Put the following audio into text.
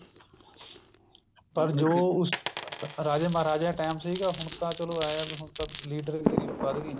ਪਰ ਜੋ ਉਸ ਚ ਰਾਜੇ ਮਹਾਰਾਜਿਆ time ਸੀਗਾ ਹੁਣ ਤਾਂ ਚਲੋ ਐਂ ਆ ਵੀ ਹੁਣ ਤਾਂ ਲੀਡਰ ਗਿਰੀ ਵੱਧਗੀ